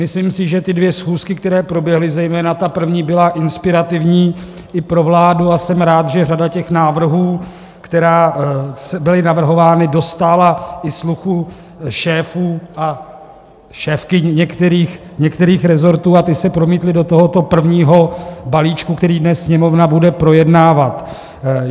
Myslím si, že ty dvě schůzky, které proběhly, zejména ta první, byly inspirativní i pro vládu, a jsem rád, že řada těch návrhů, které byly navrhovány, dostála i sluchu šéfů a šéfky některých resortů a ty se promítly do tohoto prvního balíčku, který dnes Sněmovna bude projednávat.